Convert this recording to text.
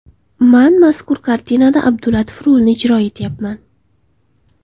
Man mazkur kartinada Abdulatif rolini ijro etyapman.